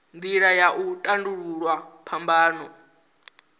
nila ya u tandululwa phambano